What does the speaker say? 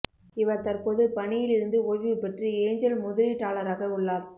இவர் தற்போது பணியில் இருந்து ஓய்வு பெற்று ஏஞ்சல் முதலீட்டாளராக உள்ளார்